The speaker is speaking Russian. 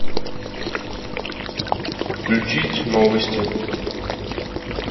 включить новости